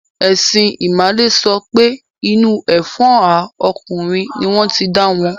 Ẹ̀sìn ìmàle sọ pé inú ẹfọ́hà ọkùnrin ní wọ́n ti dáwọn.